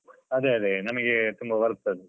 ಅದೇ ಅದೇ ನಮಗೆ ತುಂಬಾ worth ಅದು.